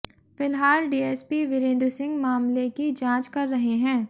फिलहाल डीएसपी विरेन्द्र सिंह मामले की जांच कर रहे हैं